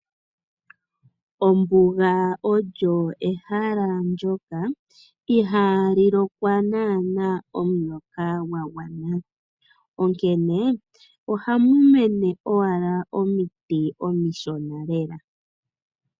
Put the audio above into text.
Ombuga olyo ehala ndyoka ihali lokwa nana omvula yagwana onkene, ohamu mene owala omiti omishona lela.